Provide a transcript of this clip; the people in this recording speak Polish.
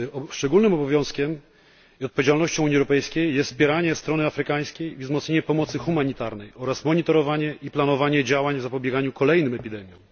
Szczególnym obowiązkiem i odpowiedzialnością Unii Europejskiej jest wspieranie strony afrykańskiej i wzmocnienie pomocy humanitarnej oraz monitorowanie i planowanie działań zapobiegania kolejnym epidemiom.